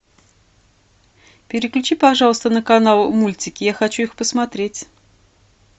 переключи пожалуйста на канал мультики я хочу их посмотреть